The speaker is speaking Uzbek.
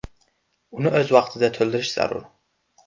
Uni o‘z vaqtida to‘ldirish zarur.